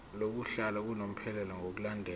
lokuhlala unomphela ngokulandela